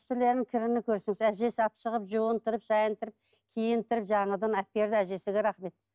үстілерінің кірін көрсеңіз әжесі алып шығып жуындырып шайындырып киіндіріп жаңадан әперді әжесіне рахмет